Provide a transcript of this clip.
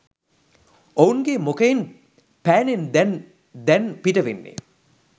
ඔවුන්ගේ මුකයෙන් පෑනෙන් දැන් දැන් පිටවෙන්නේ.